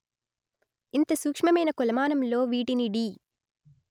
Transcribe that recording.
ఇంత సూక్ష్మమైన కొలమానంలో వీటిని డి